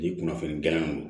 Ni kunnafoni diyalan don